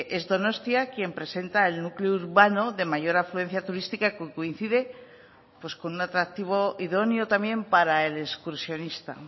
es donostia quien presenta el núcleo urbano de mayor afluencia turística que coincide con un atractivo idóneo también para el excursionista